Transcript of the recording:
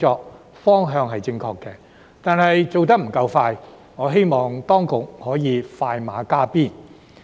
不過，雖然方向正確，但做得不夠快，所以我希望當局可以快馬加鞭。